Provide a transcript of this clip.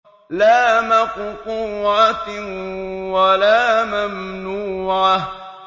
لَّا مَقْطُوعَةٍ وَلَا مَمْنُوعَةٍ